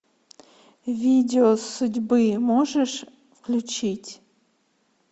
видео судьбы можешь включить